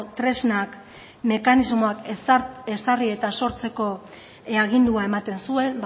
tresnak eta mekanismoak ezarri eta sortzeko agindua ematen zuen